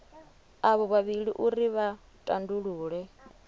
avho vhavhili uri vha tandulule